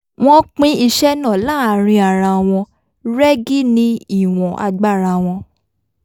wọ́n pín iṣẹ́ náà láàárín ara wọn rẹ́gí ní ìwọ̀n agbára wọn